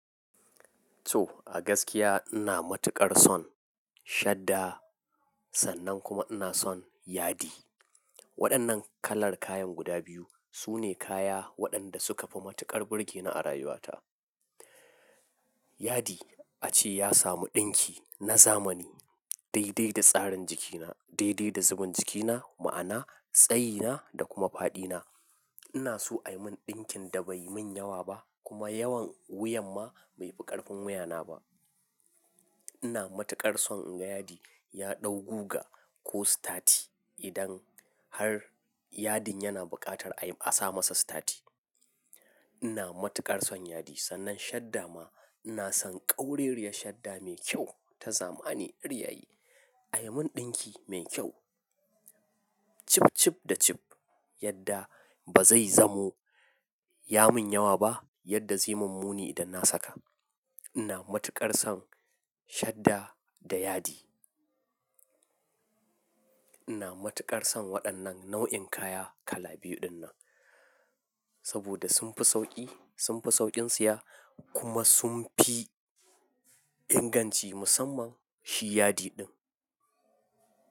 To, a gaskiya ina matuƙar son shadda sannan kuma ina son yadi. Waɗannan kalar kayan guda biyu su ne kaya waɗanda suka fi matuƙar burge ni a rayuwata. Yadi ace ya samu ɗinki na zamani, daidai da tsarin jikina, daidai da zaman jikina, ma'ana tsayina da kuma faɗina. Ina so a yi min ɗinkin da bai yi min yawa ba kuma yawan wuyan ma bai fi ƙarfin wuyana ba. Ina matuƙar son in ga yadi ya ɗau guga ko sitati idan har yadin yana buƙatar a yi a sa masa sitati. Ina matuƙar son yadi sannan shadda ma ina son ƙaurariyar shadda mai kyau ta zamani, riya yi, a yi min ɗinki mai kyau, cip, cip da cip yadda ba zai zamo ya min yawa ba yadda zai min muni idan na saka. Ina matuƙar son shadda da yadi. Ina matuƙar son waɗannan nau'in kaya kala biyu dinnan saboda sun fi sauƙi, sun fi sauƙin siya kuma sun fi inganci musamman shi yadi ɗin.